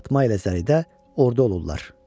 Fatma ilə Zəridə orda olurlar.